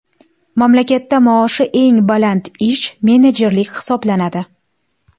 Mamlakatda maoshi eng baland ish menejerlik hisoblanadi.